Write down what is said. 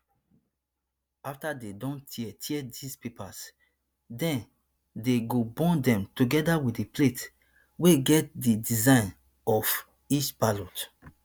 afta dey don tear tear dis papers den dey go burn dem togeda wit di plates wey get di design of each ballot